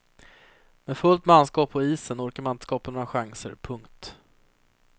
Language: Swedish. Med fullt manskap på isen orkade man inte skapa några chanser. punkt